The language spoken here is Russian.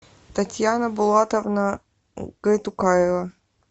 татьяна булатовна гайтукаева